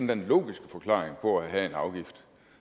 den logiske forklaring på at have en afgift